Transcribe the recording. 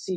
si